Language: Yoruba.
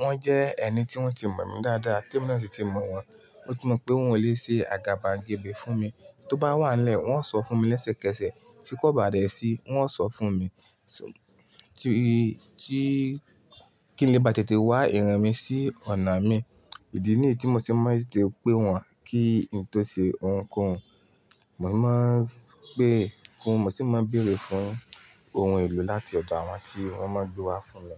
wọ́n jẹ́ ẹni tí wọ́n ti mọ̀ mí dáadáa, temí náà sì ti mọ̀ wọ́n. Mo ti mọ̀ pé wọn ò le ṣe àgàbàngebè fún mi. Tó bá wà lẹ́ẹ̀, wọ́n ó sọ fún mi lẹ́sẹ̀kẹsẹ̀. Tí kò bá dẹ̀ sí, wọ́n ó sọ fún mi. Tí, tí kí nì bá tètè wá ìrìn mi sí ọ̀nà mi. Ìdí nìyí tí mo ṣe máa ń tètè pè wọ́n kí n tó ṣe ohunkóhun. Mo máa ń pè fún, mo sì máa ń bèèrè fún ohun èlò láti ọ̀dọ̀ àwọn tí wọ́n máa ń gbé wá fún mi.